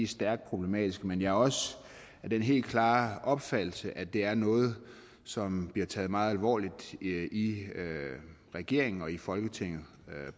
stærkt problematiske men jeg er også af den helt klare opfattelse at det er noget som bliver taget meget alvorligt i i regeringen og i folketinget